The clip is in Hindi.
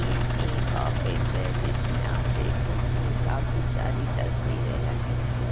ये एक ऑफिस है जिसमें आप देख सकते हैं काफी सारी तस्वीरें लगी हुई है।